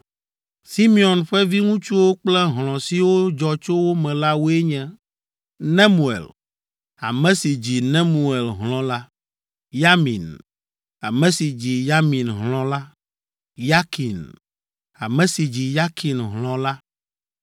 Simeon ƒe viŋutsuwo kple hlɔ̃ siwo dzɔ tso wo me la woe nye: Nemuel, ame si dzi Nemuel hlɔ̃ la, Yamin, ame si dzi Yamin hlɔ̃ la, Yakin, ame si dzi Yakin hlɔ̃ la,